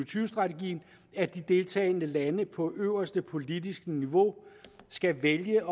tyve strategien at de deltagende lande på øverste politiske niveau skal vælge